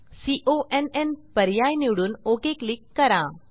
कॉन पर्याय निवडून OK click करा